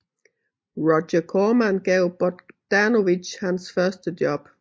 Roger Corman gav Bogdanovich hans første job